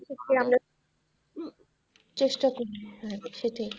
okay আমরা চেষ্টা করতে হবেই সেটাই।